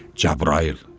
Cəbrayıl.